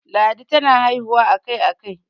ladi tana haihuwa a Kai a Kai